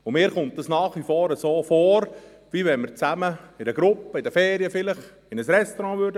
Mir scheint nach wie vor, also ob wir in einer Gruppe, vielleicht in den Ferien, in ein Restaurant gingen.